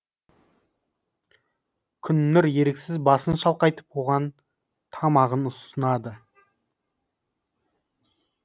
күннұр еріксіз басын шалқайтып оған тамағын ұсынады